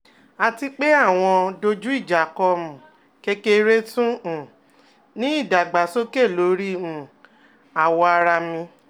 ati pe awọn dojuijako um kekere tun um ni idagbasoke lori um awọ ara mi